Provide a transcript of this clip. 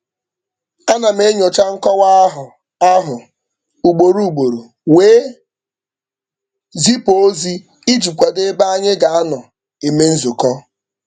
Ana m enyocha nkọwa ahụ ahụ ugboro ugboro wee zipu ozi iji kwado ebe anyị ga-anọ eme nzukọ.